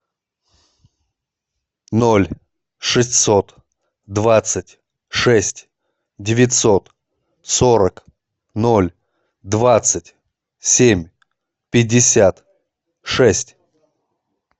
ноль шестьсот двадцать шесть девятьсот сорок ноль двадцать семь пятьдесят шесть